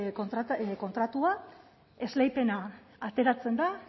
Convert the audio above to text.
kontratua esleipena ateratzen da